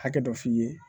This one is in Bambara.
Hakɛ dɔ f'i ye